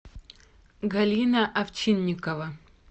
галина овчинникова